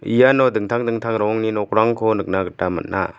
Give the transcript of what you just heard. iano dingtang dingtang rongni nokrangko nikna gita man·a.